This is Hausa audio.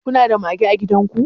kuna da mage a gidan ku